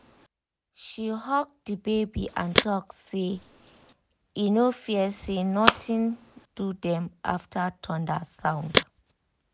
she hug the baby and talk say e no fear say nothing do dem after thunder sound